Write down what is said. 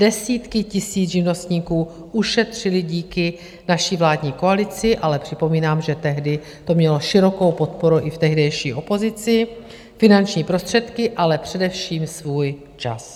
Desítky tisíc živnostníků ušetřily díky naší vládní koalici - ale připomínám, že tehdy to mělo širokou podporu i v tehdejší opozici - finanční prostředky, ale především svůj čas.